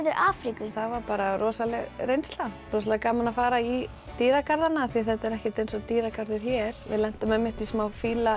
Afríku það var bara rosaleg reynsla rosalega gaman að fara í dýrgarðana því þetta er ekkert eins og dýragarður hér við lentum í smá